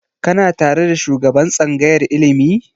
Kana tare da shugaban tsangayar ilimi?